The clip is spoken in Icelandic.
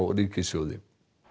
ríkissjóði